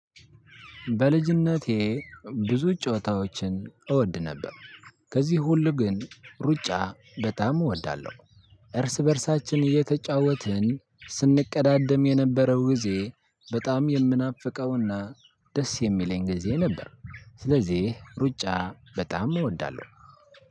በልጅነቴ ብዙ ጨዋታዎችን እወድ ነበር። ከዚህ ሁሉ ግን ሩጫ በጣም እወዳለሁ። እርስ በእርሳችን እየተጫወትን ስንቀዳደም የነበረው ጊዜ በጣም የምናፍቀው እና ደስ የሚለኝ ጊዜ ነበር። ስለዚህ ሩጫ በጣም እወዳለው።